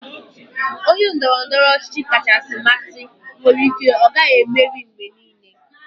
Onye ndoro-ndoro ochichi kachasị amasị nwere ike ọ gaghị emeri mgbe niile.